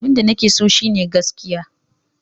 Abinda nake so shine gaskiya.